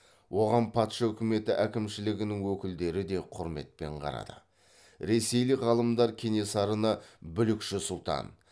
оған патша үкіметі әкімшілігінің өкілдері де құрметпен қарады ресейлік ғалымдар кенесарыны бүлікші сұлтан